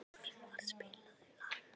Fjölvar, spilaðu lag.